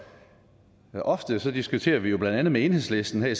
og ofte diskuterer vi jo blandt andet med enhedslisten her i